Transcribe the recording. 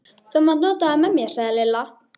Þú mátt nota þá með mér sagði Lilla.